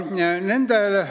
Palun!